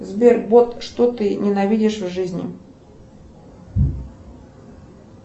сбер бот что ты ненавидишь в жизни